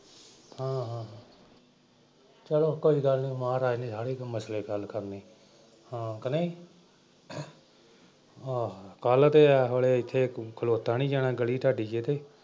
ਹਾਂ ਹਾਂ ਚਲੋ ਕੋਈ ਗੱਲ ਨਈਂ ਮਹਾਰਾਜ ਨੇ ਸਾਰੇ ਮਸਲੇ ਹੱਲ ਕਰਨੇ ਕਿ ਹਾਂ ਨਈਂ ਅਮ ਆਹੋ ਤੇ ਏਸ ਵੇਲੇ ਇੱਥੇ ਖਲੋਤਾ ਨਈਂ ਜਾਣਾ ਗਲ਼ੀ ਚ ਤੁਹਾਡੀ ਚ ਇੱਥੇ,